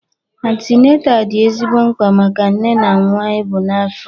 Antineta dị ezigbo mkpa maka nne na nwa e bu n'afọ